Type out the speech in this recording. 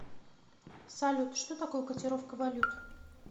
салют что такое котировка валют